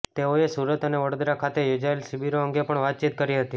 તેઓએ સુરત અને વડોદરા ખાતે યોજાએલ શિબિરો અંગે પણ વાતચીત કરી હતી